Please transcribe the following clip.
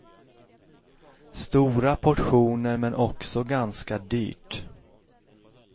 Stora portioner men också ganska dyrt.